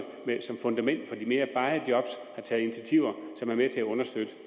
som fundament for de mere varige job har taget initiativer som er med til at understøtte